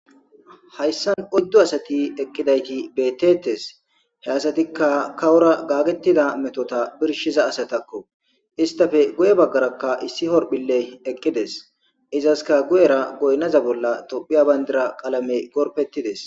Hayssan oyddu asati eqqidayti beetetees. He asatika kawora gaagetida metota birshiza asatako. Izetappe guye baggaraka issi Horphphiley eqqidees. Izasika guyera goynaza bolla Tophphiya qalamey gorpetidees.